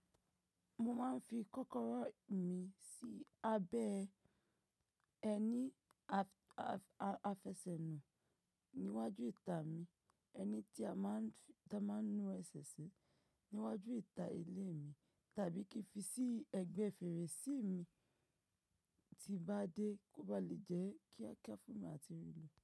Mo máa ń fi kọ́kọ́rọ́ mi sí abẹ́ ẹni àfẹ́sẹ̀ nù níwájú ìta mi, ẹni tí a máa ń nu ẹsẹ̀ sí níwájú ìta ilé mi tàbí kí fi sí ẹ̀gbẹ́ fèrèsé mi tí bá dé kó ba lè jẹ́ kía kíá fún mi àti rí lọ.